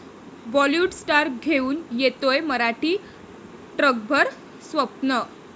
Bollywood star घेऊन येतोय मराठी 'ट्रकभर स्वप्न'